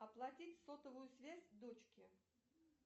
оплатить сотовую связь дочке